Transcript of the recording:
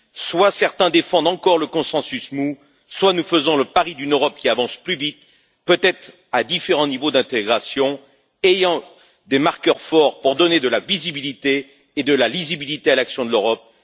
Soit certains défendent encore le consensus mou, soit nous faisons le pari d'une Europe qui avance plus vite, peut être à différents niveaux d'intégration, avec des marqueurs forts pour donner de la visibilité et de la lisibilité à l'action de l'Europe.